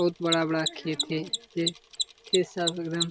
बहुत बड़ा-बड़ा खेत है खेत सब एकदम --